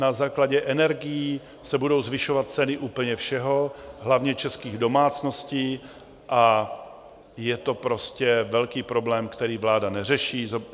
Na základě energií se budou zvyšovat ceny úplně všeho, hlavně českých domácností a je to prostě velký problém, který vláda neřeší.